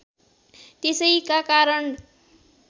त्यसैका कारण